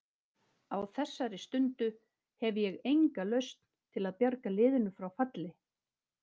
Á þessari stundu hef ég enga lausn til að bjarga liðinu frá falli.